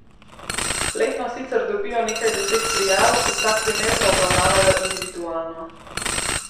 Letno sicer dobijo nekaj deset prijav, vsak primer pa obravnavajo individualno.